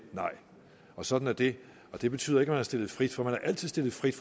nej sådan er det og det betyder ikke at man er stillet frit for man er altid stillet frit